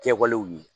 Kɛwalew ye